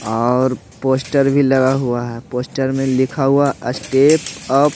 और पोस्टर भी लगा हुआ है पोस्टर में लिखा हुआ स्टेप अप --